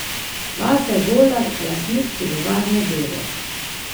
Vasja Golar, lastnik pivovarne Bevog.